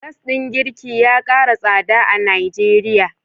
Gas din girki ya kara tsada a Nigeria.